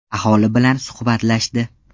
Aholi bilan suhbatlashdi.